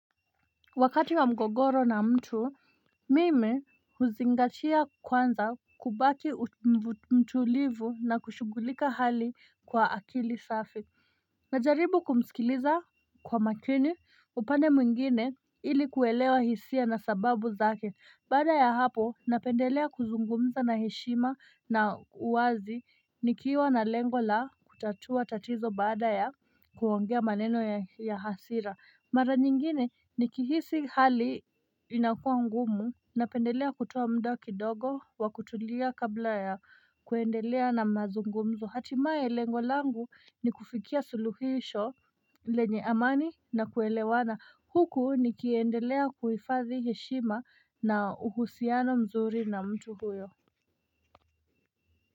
Wakati wa mgogoro na mtu mimi huzingatia kwanza kubaki mtulivu na kushughulika hali kwa akili safi Najaribu kumsikiliza kwa makini upande mwingine ili kuelewa hisia na sababu zake baada ya hapo napendelea kuzungumza na heshima na uwazi nikiwa na lengo la kutatua tatizo baada ya kuongea maneno ya hasira mara nyingine ni kihisi hali inakua ngumu Napendelea kutoa muda kidogo wa kutulia kabla ya kuendelea na mazungumzo Hatimaye lengo langu ni kufikia suluhisho lenye amani na kuelewana Huku nikiendelea kuhifadhi heshima na uhusiano mzuri na mtu huyo.